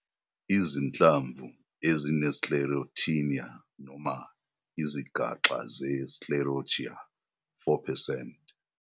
Izinhlamvu ezine-Sclerotinia noma izigaxa ze-sclerotia - 4 percent.